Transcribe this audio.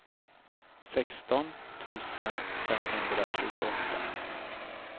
sexton tusen femhundratjugoåtta